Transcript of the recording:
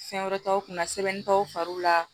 Fɛn wɛrɛ t'aw kunna sɛbɛnni t'aw fari la